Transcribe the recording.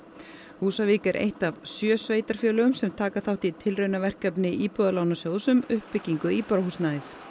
Húsavík er eitt sjö sveitarfélaga sem taka þátt í tilraunaverkefni Íbúðalánasjóðs um uppbyggingu íbúðarhúsnæðis